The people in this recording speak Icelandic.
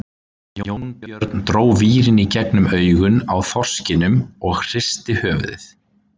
Jónbjörn dró vírinn í gegnum augun á þorskinum og hristi höfuðið.